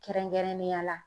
Kɛrɛnkɛrɛnnenya la